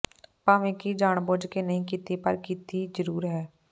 ਭਾਂਵੇਂ ਕਿ ਜਾਣਬੁੱਝ ਕੇ ਨਹੀਂ ਕੀਤੀ ਪਰ ਕੀਤੀ ਜ਼ਰੂਰ ਹੈ